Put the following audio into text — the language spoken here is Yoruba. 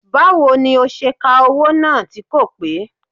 Báwo ni ó ṣe ka owó náà tí kò pé